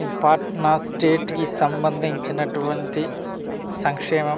ఇది పాట్నా స్టేట్ కి సంబండించినటువంటి సంక్షేమం .